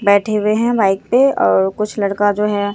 बैठे हुए हैं बाइक पे और कुछ लड़का जो है।